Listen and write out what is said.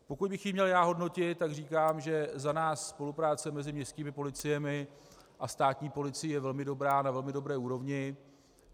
Pokud bych ji měl já hodnotit, tak říkám, že za nás spolupráce mezi městskými policiemi a státní policií je velmi dobrá, na velmi dobré úrovni.